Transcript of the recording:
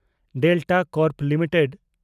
Delta Corp limited